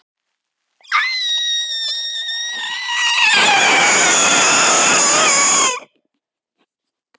ÞÓRBERGUR: Af því bókin kostaði sem svaraði hálfum skósólum.